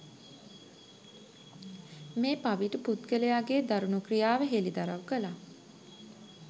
මේ පවිටු පුද්ගලයාගේ දරුණු ක්‍රියාව හෙළිදරව් කළා